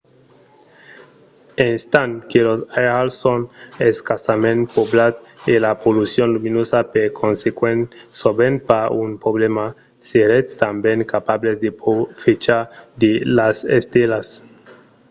estant que los airals son escassament poblats e la pollucion luminosa per consequent sovent pas un problèma seretz tanben capables de profechar de las estelas